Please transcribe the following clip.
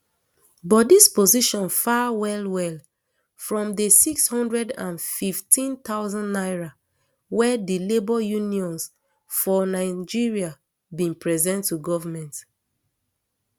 but dis position far well well from di six hundred and fifteen thousand naira wey di labour unions for for nigeria bin present to goment